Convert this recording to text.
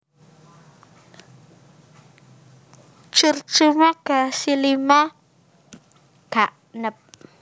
Curcuma gracillima Gagnep